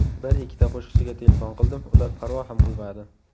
Bir-ikkita qo‘shiqchiga telefon qildim, ular parvo ham qilmadi.